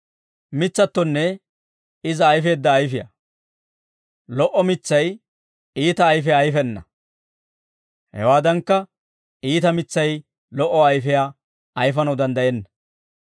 «Lo"o mitsay iita ayfiyaa ayfena; hewaadankka iita mitsay lo"o ayfiyaa ayfanaw danddayenna.